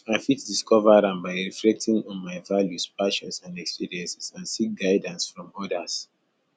i fit discover am by reflecting on my values passions and experiences and seek guidance from odas